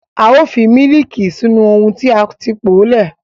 A ó fi mílííkì sínú ohun tí a ti po sílẹ̀.